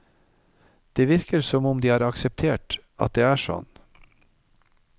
Det virker som om de har akseptert at det er sånn.